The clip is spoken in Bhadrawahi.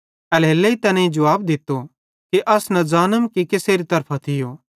एल्हेरेलेइ तैनेईं जुवाब दित्तो कि अस न ज़ानम कि केसेरी तरफां थियो